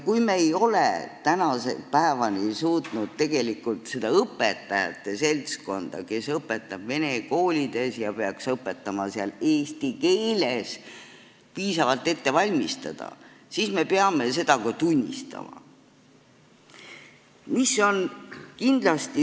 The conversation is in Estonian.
Kui me ei ole tänase päevani suutnud tegelikult seda õpetajate seltskonda, kes õpetab vene koolides ja peaks õpetama seal eesti keeles, piisavalt ette valmistada, siis me peame seda ka tunnistama.